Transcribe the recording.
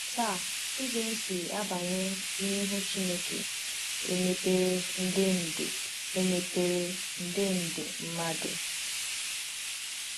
Taa, ụzọ esi abanye n’ihu Chineke emepere nde nde emepere nde nde mmadụ!